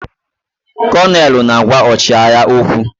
Konelu na-agwa ọchịagha okwu.